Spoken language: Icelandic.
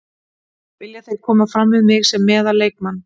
Vilja þeir koma fram við mig sem meðal leikmann.